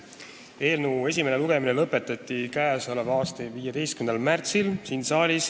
Eelnõu esimene lugemine siin saalis lõpetati k.a 15. märtsil.